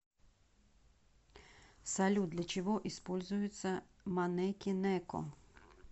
салют для чего используется манеки неко